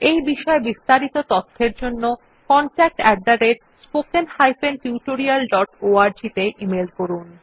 এই বিষয় বিস্তারিত তথ্যের জন্য contactspoken tutorialorg তে ইমেল করুন